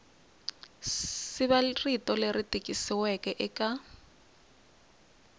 siva rito leri tikisiweke eka